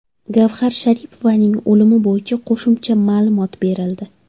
Gavhar Sharipovaning o‘limi bo‘yicha qo‘shimcha ma’lumot berildi.